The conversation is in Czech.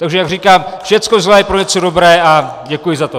Takže jak říkám, všecko zlé je pro něco dobré, a děkuji za to.